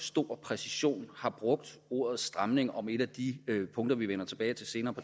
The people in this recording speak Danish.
stor præcision har brugt ordet stramning om et af de punkter vi vender tilbage til senere